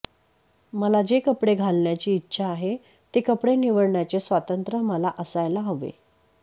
मला जे कपडे घालण्याची इच्छा आहे ते कपडे निवडण्याचे स्वातंत्र्य मला असायले हवे